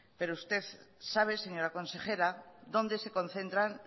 pero usted sabe señora consejera dónde se concentran